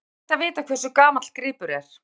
Hvernig er hægt að vita hversu gamall gripur er?